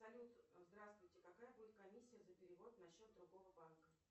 салют здравствуйте какая будет комиссия за перевод на счет другого банка